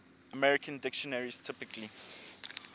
american dictionaries typically